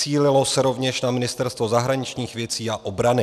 Cílilo se rovněž na Ministerstvo zahraničních věcí a obrany.